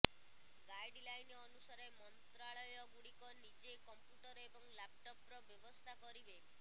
guideline ଅନୁସାରେ ମନ୍ତ୍ରାଳୟ ଗୁଡ଼ିକ ନିଜେ କମ୍ପ୍ୟୁଟର ଏବଂ ଲାପଟପର ବ୍ୟବସ୍ଥା କରିବେ